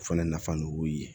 O fana nafa dɔ b'u ye